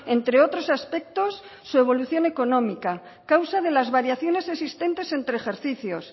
entre otros aspectos su evolución económica causa de las variaciones existentes entre ejercicios